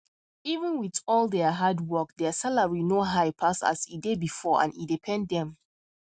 even with all their hard work their salary no high pass as e dey before and e dey pain dem